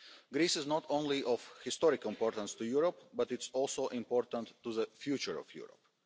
Greece is not only of historic importance to Europe, but it is also important to the future of Europe.